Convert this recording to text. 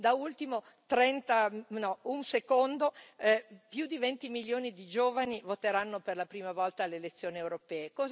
Da ultimo un secondo più di 20 milioni di giovani voteranno per la prima volta alle elezioni europee.